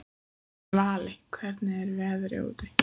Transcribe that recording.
Svali, hvernig er veðrið úti?